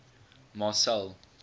marcel